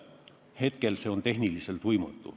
Praegu see on tehniliselt võimatu.